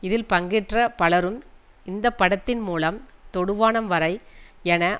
இதில் பங்கேற்ற பலரும் இந்த படத்தின் மூலம் தொடுவானம் வரை என